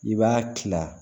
I b'a kila